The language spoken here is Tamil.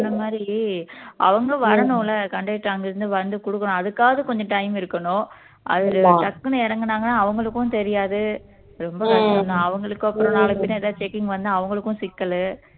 மாதிரி அவங்க வரணும்ல conductor அங்க இருந்து வந்து கொடுக்கணும் அதுக்காவது கொஞ்சம் time இருக்கணும் அது டக்குன்னு இறங்குனாங்கன்னா அவங்களுக்கும் தெரியாது ரொம்ப கஷ்டம் தான் அவங்களுக்கும் அப்பறம் நாளை பின்ன எதாவது checking வந்தா அவங்களுக்கும் சிக்கலு